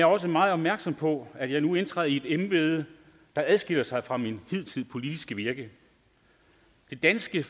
også meget opmærksom på at jeg nu indtræder i et embede der adskiller sig fra mit hidtidige politiske virke det danske